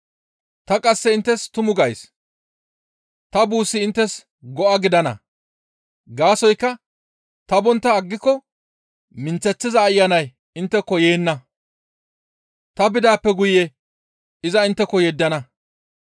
Ta qasse inttes tumu gays; ta buussi inttes go7a gidana; gaasoykka ta bontta aggiko minththeththiza Ayanay intteko yeenna; ta bidaappe guye iza intteko yeddana.